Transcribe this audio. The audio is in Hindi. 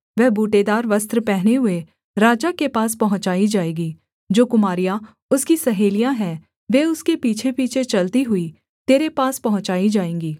वह बूटेदार वस्त्र पहने हुए राजा के पास पहुँचाई जाएगी जो कुमारियाँ उसकी सहेलियाँ हैं वे उसके पीछेपीछे चलती हुई तेरे पास पहुँचाई जाएँगी